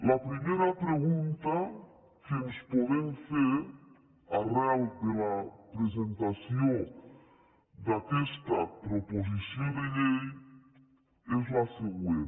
la primera pregunta que ens podem fer arran de la presentació d’aquesta proposició de llei és la següent